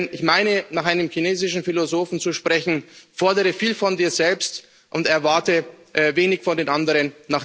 Ich meine nach einem chinesischen Philosophen zu sprechen Fordere viel von dir selbst und erwarte wenig von den anderen.